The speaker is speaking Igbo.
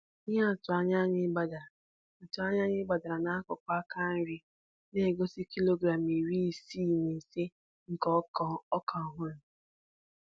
Ihe atụ anyị gbadara atụ anyị gbadara n'akụkụ aka nri, na-egosi kilogram iri isii na ise nke ọka ọhụrụ.